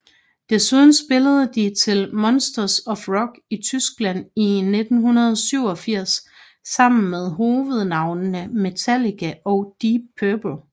Desuden spillede de til Monsters of Rock i Tyskland i 1987 sammen med hovednavnene Metallica og Deep Purple